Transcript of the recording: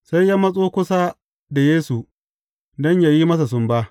Sai ya matso kusa da Yesu don yă yi masa sumba.